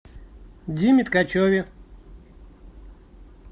диме ткачеве